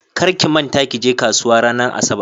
Kar ki manta kije kasuwa ranar asabar.